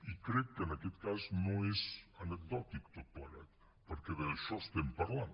i crec que en aquest cas no és anecdòtic tot plegat perquè d’això estem parlant